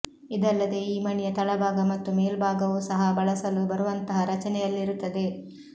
ಇದಲ್ಲದೇ ಈ ಮಣೆಯ ತಳಭಾಗ ಮತ್ತು ಮೇಲುಭಾಗವೂ ಸಹ ಬಳಸಲು ಬರುವಂತಹ ರಚನೆಯಲ್ಲಿರುತ್ತದೆ